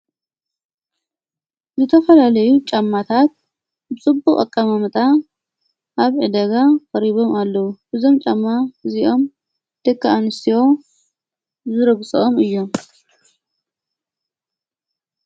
ዝተፈለለዩ ጫማታት ብጽቡቕ ኣቃማምታ ኣብ ዕደጋ ኸሪቦም ኣለዉ ብዞም ጫማ እዚኦም ደካኣንስዮ ዝረግሶኦም እዮም።